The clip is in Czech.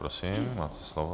Prosím, máte slovo.